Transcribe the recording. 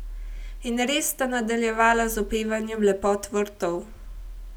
In res sta nadaljevala z opevanjem lepot vrtov.